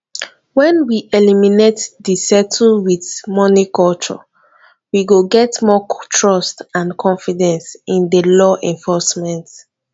when we eliminate di settle with money culture we go get more trust and confidence in di law enforcement